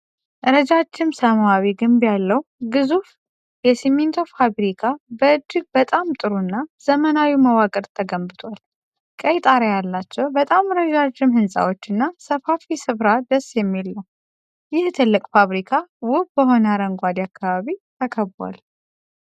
ረጃጅም ሰማያዊ ግንብ ያለው ግዙፍ የሲሚንቶ ፋብሪካ በ እጅግ በጣም ጥሩ እና ዘመናዊ መዋቅር ተገንብቷል። ቀይ ጣሪያ ያላቸው በጣም ረዣዥም ህንጻዎች እና ሰፋፊ ስፍራ ደስ የሚል ነው። ይህ ትልቅ ፋብሪካ ውብ በሆነ አረንጓዴ አካባቢ ተከቧል።